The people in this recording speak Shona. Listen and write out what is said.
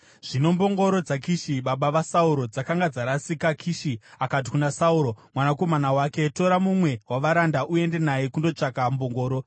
Zvino mbongoro dzaKishi, baba vaSauro, dzakanga dzarasika, Kishi akati kuna Sauro mwanakomana wake, “Tora mumwe wavaranda uende naye kundotsvaga mbongoro.”